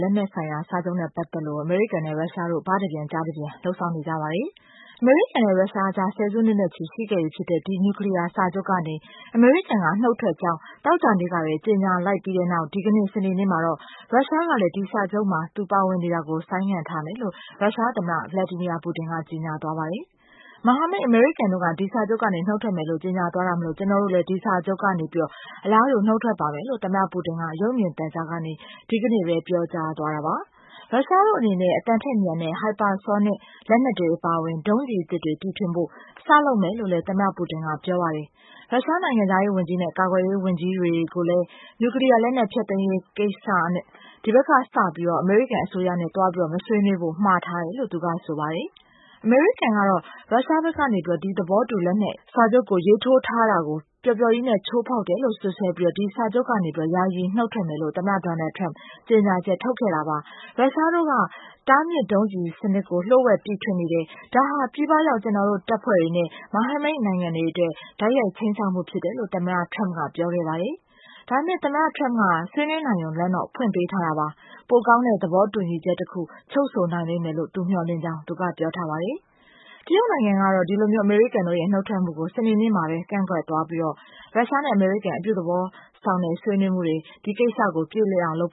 လက်နက်ဆိုင်ရာစာချုပ်နဲ့ ပတ်သက်ပြီး အမေရိကန်နဲ့ ရုရှားတို့ ဘတပြန်ကျားတပြန် လုပ်ဆောင်နေကြပါတယ်။ အမေရိကန်နဲ့ ရုရှားကြား ဆယ်စုနှစ်ချီရှိခဲ့ပြီဖြစ်တဲ့ ဒီနြူကလီးယားစာချုပ်ကနေ အမေရိကန်က နုတ်ထွက်ကြောင်း သောကြာနေ့က ကြေညာလိုက်ပြီးတဲ့နောက် စနေနေ့မှာတော့ ရုရှားကလည်း ဒီစာချုပ်မှာ သူပါဝင်နေတာကို ဆိုင်းငံ့ထားမယ်လို့ ရုရှားသမ္မတ Vladimir Putin ကြေညာသွားပါတယ်။ မဟာမိတ်အမေရိကန်တို့က ဒီစာချုပ်ကနေ နုတ်ထွက်မယ်လို့ ကြေညာသွားတာမို့ ကျနော်တို့ကလည်း အလားတူ နုတ်ထွက်ပါမယ်လို့ ပြောသွားတာပါ။ ရုရှားတို့အနေနဲ့ အသံထက်မြန်တဲ့ စူပါဆောနစ်လက်နက်တွေ အပါအဝင် ဒုံးကျည်အမျိုးအစားအသစ်တွေ တီထွင်ဖို့ စလုပ်မယ်လို့လည်း သမ္မတ Putin ကပြောပါတယ်။ နြူကလီးယားလက်နက် ဖျက်သိမ်းရေးကိစ္စကို ဒီဘက်ကစပြီး အမေရိကန်နဲ့ သွားမဆွေးနွေးဖို့ ရုှရှား နိုင်ငံခြားရေးဝန်ကြီးနဲ့ ကာကွယ်ရေးဝန်ကြီးတို့ကို မှာထားတယ်လို့လည်း ပြောပါတယ်။ အမေရိကန်ကတော့ ဒီသဘောတူလက်မှတ်ရေးထိုးထားတာကို ရုရှားဘက်က ပျော်ပျော်ကြီးချိုးဖောက်နေတယ်လို့ စွပ်စွဲပြီး ဒီစာချုပ်ကနေ နုတ်ထွက်မယ်လို့ သမ္မတ Donald Trump ကြေညာချက်ထုတ်ခဲ့တာပါ။ ရုရှားတို့က တားမြစ်ဒုံးကျည်စနစ် လျှို့ဝှက်တီထွင်နေတယ်၊ ဒါဟာ ပြည်ပမှာ ဖြန့်ချထားတဲ့ အမေရိကန် တပ်တွေနဲ့ မဟာမိတ်တပ်တွေအတွက် တိုက်ရိုက်ခြိမ်းခြောက်မှုတွေ ဖြစ်တယ်လို့ သမ္မတ Trump က ပြောပါတယ်။ ဒါပေမယ့် Mr. Trump က ဆွေးနွေးနိုင်ရုံ လမ်းတော့ ဖွင့်ပေးထားတာပါ။ ပိုကောင်းတဲ့ သဘောတူညီချက်တခု ချုပ်ဆိုနိုင်လိမ့်မယ်လို့ မျှော်လင့်ကြောင်း သူက ပြောပါတယ်။ တရုတ်နိုင်ငံကတော့ ဒီလိုအမေရိကန်တို့ရဲ့ နုတ်ထွက်မှုကို ကန့်ကွက်ကြောင်း စနေနေ့ကပဲ ပြောလိုက်ပြီး ရုရှားနဲ့ အမေရိကန် အပြုသဘောဆောင်တဲ့ ဆွေးနွေးမှုတွေနဲ့ ပြေလည်အောင်လုပ်